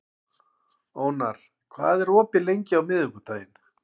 Ónar, hvað er opið lengi á miðvikudaginn?